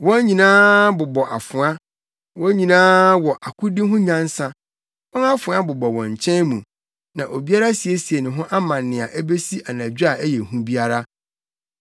Wɔn nyinaa bobɔ afoa, wɔn nyinaa wɔ akodi ho nyansa. Wɔn afoa bobɔ wɔn nkyɛn mu, na obiara asiesie ne ho ama nea ebesi anadwo a ɛyɛ hu biara.